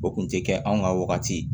O kun tɛ kɛ anw ka wagati ye